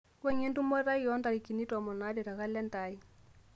wuangie entumoto aai oo ntarikini tomon aare tekalenda aai